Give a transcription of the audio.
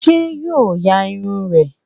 Ṣé yo ya irun rẹ?